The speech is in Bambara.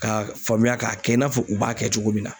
K'a faamuya k'a kɛ i n'a fɔ u b'a kɛ cogo min na.